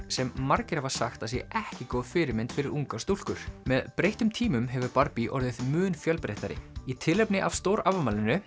sem margir hafa sagt að sé ekki góð fyrirmynd fyrir ungar stúlkur með breyttum tímum hefur orðið mun fjölbreyttari í tilefni af